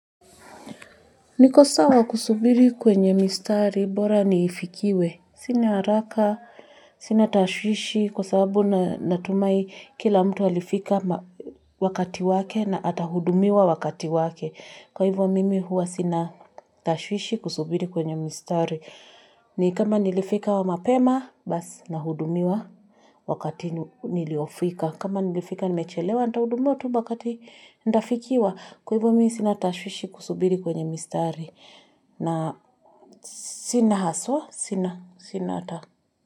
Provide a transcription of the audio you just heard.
Niko sawa kusubiri kwenye mistari bora niifikiwe. Sina haraka, sina tashwishi kwa sababu natumai kila mtu alifika wakati wake na atahudumiwa wakati wake. Kwa hivyo mimi huwa sina tashwishi kusubiri kwenye mistari. Ni kama nilifika wa mapema, basi nahudumiwa wakati niliofika. Kama nilifika nimechelewa nitaudumuwa tu wakati ndafikiwa. Kwa hivo mimi sina tashwishi kusubiri kwenye mistari. Na sina haswa, sina sina hata.